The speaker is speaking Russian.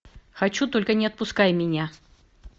хочу только не отпускай меня